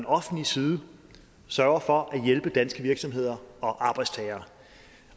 offentlig side sørger for at hjælpe danske virksomheder og arbejdstagere